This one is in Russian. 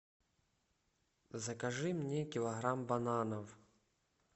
закажи мне килограмм бананов